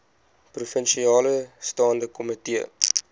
provinsiale staande komitee